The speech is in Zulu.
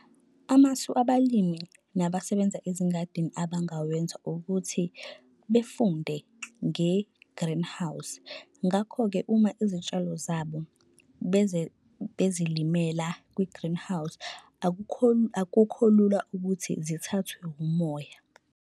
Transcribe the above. Amasu abalimi nabasebenza ezingadini abangawenza ukuthi befunde nge-greenhouse, ngakho-ke uma izitshalo zabo bezilimela kwi-greenhouse akukho lula ukuthi zithathwe umoya.